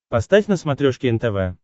поставь на смотрешке нтв